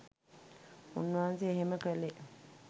උන්වහන්සේ එහෙම කළේ